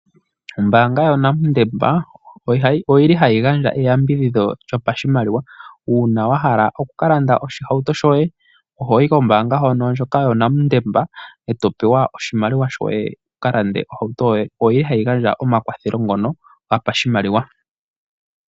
Ombaanga yo Nedbank oyili hayi gandja eyambidhidho lyopashimaliwa uuna wahala okulanda oshihauto shoye ohoyi kombaanga hoka yoNedbank eto pewa oshimaliwa shoye wukalande ohauto yoye. Ohayi gandja omakwatho ngono gopashimaliwa.